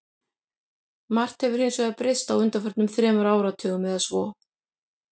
Margt hefur hins vegar breyst á undanförnum þremur áratugum eða svo.